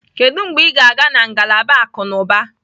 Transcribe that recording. Kedu mgbe ị ga-aga na ngalaba akụ na ụba?